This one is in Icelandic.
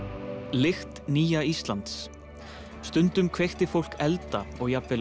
lykt nýja Íslands stundum kveikti fólk elda og jafnvel